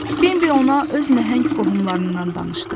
Bambi ona öz nəhəng qohumlarından danışdı.